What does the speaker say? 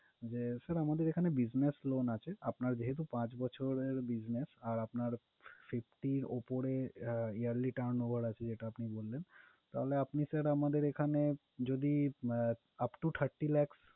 যে sir আমাদের এখানে business loan আছে। আপনার যেহেতু পাঁচ বছরের business আর আপনার fifty এর উপরে yearly turnover আছে, যেটা আপনি বললেন। তাহলে আপনি sir আমাদের এখানে যদি upto thirty lakhs